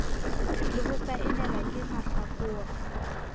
le ho saenelwa ke mahlakore